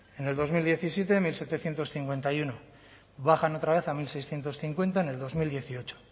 en el dos mil diecisiete mil setecientos cincuenta y uno bajan otra vez a mil seiscientos cincuenta en bi mila hemezortzi